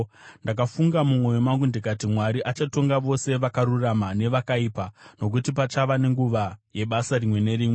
Ndakafunga mumwoyo mangu ndikati, “Mwari achatonga vose vakarurama nevakaipa, nokuti pachava nenguva yebasa rimwe nerimwe.”